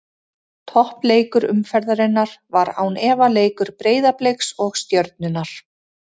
Toppleikur umferðarinnar var án efa leikur Breiðabliks og Stjörnunnar.